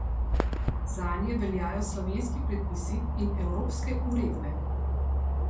Zanje veljajo slovenski predpisi in evropske uredbe.